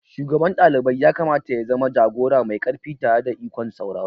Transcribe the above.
Shugaban dalibai yakamata ya zama jagora mai ƙarfi tare da ikon sauraro.